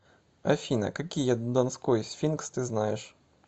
афина какие донской сфинкс ты знаешь